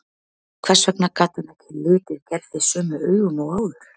Hvers vegna gat hann ekki litið Gerði sömu augum og áður?